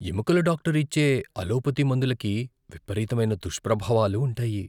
ఎముకల డాక్టరు ఇచ్చే అలోపతి మందులకి విపరీతమైన దుష్ప్రభావాలు ఉంటాయి.